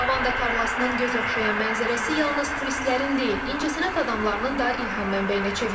Lavanda tarlasının göz oxşayan mənzərəsi yalnız turistlərin deyil, incəsənət adamlarının da ilham mənbəyinə çevrilir.